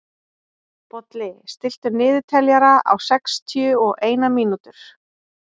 Bolli, stilltu niðurteljara á sextíu og eina mínútur.